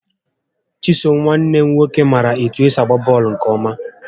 Chisom nwanne m nwoke maara etụ esi agba bọọlụ nkè ọma